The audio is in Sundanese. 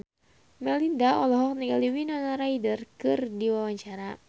Melinda olohok ningali Winona Ryder keur diwawancara